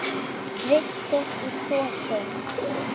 Villtir í þoku